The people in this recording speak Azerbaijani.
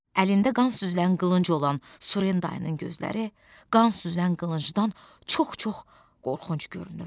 Əlində qan süzülən qılınc olan Surendayın gözləri, qan süzülən qılıncdan çox-çox qorxunc görünürdü.